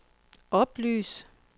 oplys